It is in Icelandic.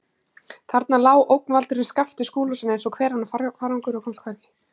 Þarna lá ógnvaldurinn Skapti Skúlason eins og hver annar farangur og komst hvergi.